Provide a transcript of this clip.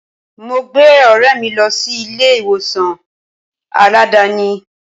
Mo gbé ọ̀rẹ́ mi lọ sí ilé ìwòsàn Aládàáni.